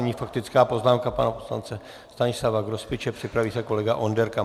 Nyní faktická poznámka pana poslance Stanislava Grospiče, připraví se kolega Onderka.